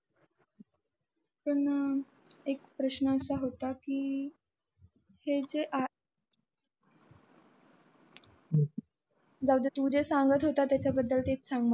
पण एक प्रश्न असा होता की ते जे app जाऊदे जे तू सांगत होता त्याच्या बदल तेच सांग मला